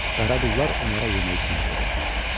Qaraqullar onlara yemək-içmək verirdilər.